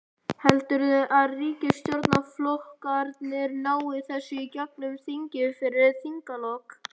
Heldurðu að ríkisstjórnarflokkarnir nái þessu í gegnum þingið fyrir þinglok?